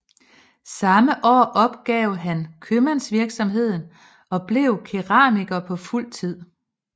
Samme år opgav han købmandsvirksomheden og blev keramiker på fuld tid